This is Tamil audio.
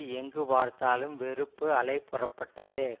எங்கு பார்த்தாலும் வெறுப்பு அலை புறப்பட்டது